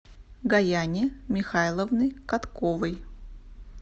гаяне михайловны котковой